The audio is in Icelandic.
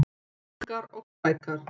Ungar og sprækar